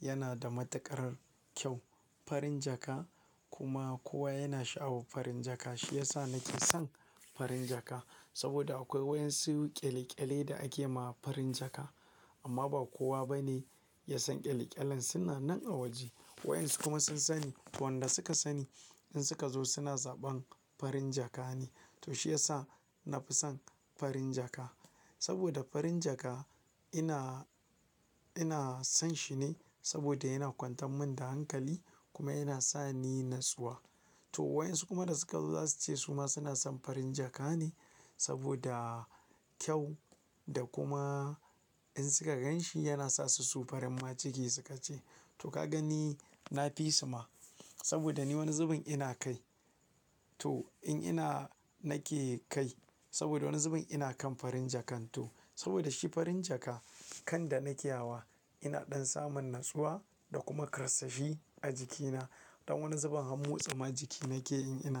yana da matakar kyau. Farin jaka kuma kowa yana sha'awar farin jaka. Shi yasa nake son farin jaka saboda akwai wayan suwu ƙyale-ƙyale da ake ma farin jaka amma ba kowa bane ya san ƙyale-ƙyalen suna nan a waje. Wayan su kuma sun sani, wanda suka sani in suka zo suna zaɓan farin jaka ne. To shi yasa na fi son farin jaka saboda farin jaka ina, ina son shi ne saboda yana kwantan min da hankali kuma yana sa ni natsuwa. To wayan su kuma da suka zo za su ce su ma suna son farin jaka ne saboda kyau da kuma in suka gan shi yana sa su so farin ma ciki suka ce. To ka gani na fi su ma saboda ni wani zubin ina kai. To in ina nake kai saboda wani zubin ina kan farin jakan to saboda shi farin jaka kan da nake ya wa ina ɗan samun natsuwa da kuma karasashi a jikina. Don wani zubin hamu tsama jiki nake in ina kai.